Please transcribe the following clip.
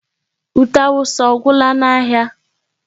Ute awụsa ọ gwụla n'ahịa?